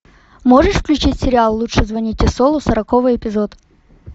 можешь включить сериал лучше звоните солу сороковой эпизод